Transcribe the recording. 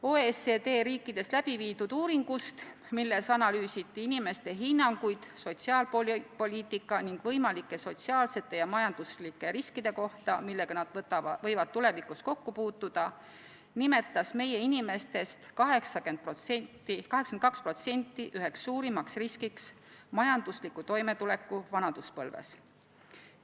OECD riikides läbiviidud uuringust, milles analüüsiti inimeste hinnanguid sotsiaalpoliitika ning võimalike sotsiaalsete ja majanduslike riskide kohta, millega nad võivad tulevikus kokku puutuda, nimetas meie inimestest 82% üheks suurimaks riskiks majanduslikku toimetulekut vanaduspõlves.